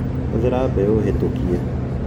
Hũthĩra mbegũ hĩtũkie